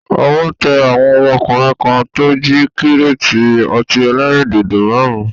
Owó tẹ àwọn ọmọkùnrin kan tó jí kíréétì ọtí ẹlẹ́rìndòdò máàrún